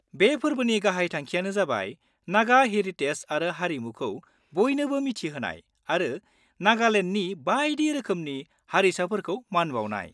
बे फोरबोनि गाहाय थांखिआनो जाबाय नागा हेरिटेज आरो हारिमुखौ बयनोबो मिथिहोनाय आरो नागालेन्डनि बायदि रोखोमनि हारिसाफोरखौ मान बाउनाय।